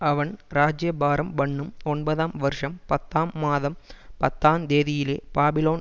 அவன் ராஜ்யபாரம்பண்ணும் ஒன்பதாம் வருஷம் பத்தாம் மாதம் பத்தாந்தேதியிலே பாபிலோன்